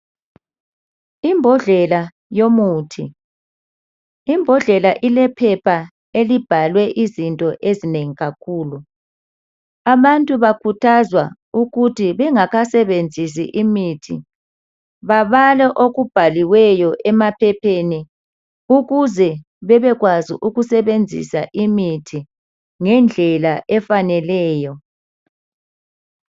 Imbodlela yomuthi ilephepha elibhalwe izinto ezinengi kakhulu. Abantu bakhuthazwa ukuthi bengakasebenzisi imithi babale okubhaliweyo emaphepheni ukuze bebekwazi ukusebenzisa imithi ngendlela efaneleyo.